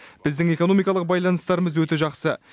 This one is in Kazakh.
біздің экономикалық байланыстарымыз өте жақсы